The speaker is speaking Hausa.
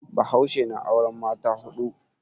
Bahaushe na auren mata hudu.